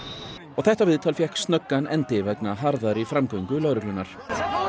og þetta viðtal fékk snöggan endi vegna harðari framgöngu lögreglunnar